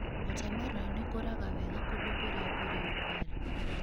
Water melon ikũraga wega kũndũ kũrĩa kũrĩ ũrugarĩ